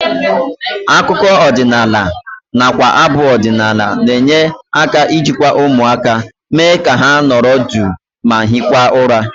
Akụkọ ọdịnala nakwa abụ ọdịnala na-enye aka ijikwa ụmụaka, mee ka ha nọrọ duu ma hirikwa ụra